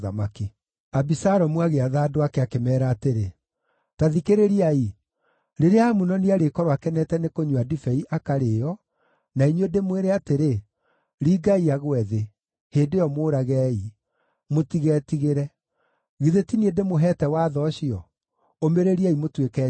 Abisalomu agĩatha andũ ake, akĩmeera atĩrĩ, “Ta thikĩrĩriai! Rĩrĩa Amunoni arĩkorwo akenete nĩ kũnyua ndibei akarĩĩo, na inyuĩ ndĩmwĩre atĩrĩ, ‘Ringai agwe thĩ,’ hĩndĩ ĩyo mũũragei. Mũtigetigĩre. Githĩ ti niĩ ndĩmũheete watho ũcio? Ũmĩrĩriai mũtuĩke njamba.”